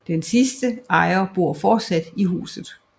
Den sidste ejer bor fortsat i huset